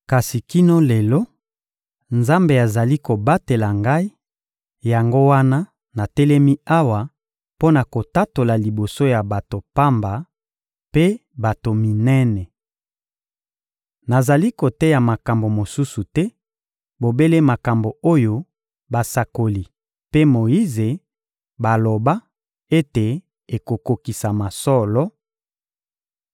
Kasi kino lelo, Nzambe azali kobatela ngai; yango wana natelemi awa mpo na kotatola liboso ya bato pamba mpe bato minene. Nazali koteya makambo mosusu te, bobele makambo oyo basakoli mpe Moyize baloba ete ekokokisama solo: